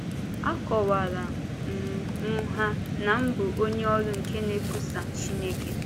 Akọwaara um m ha na m bụ onye ọrụ nke na-ekwusa Chineke.